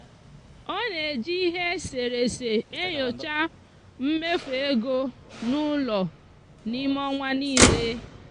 ọ na-eji ihe e sere ese enyocha mmefu ego n'ụlọ n'ime ọnwa niile.